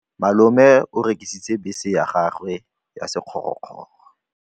Malome o rekisitse bese ya gagwe ya sekgorokgoro.